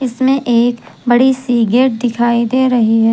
इसमें एक बड़ी सी गेट दिखाई दे रही है।